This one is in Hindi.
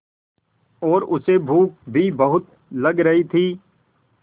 और उसे भूख भी बहुत लग रही थी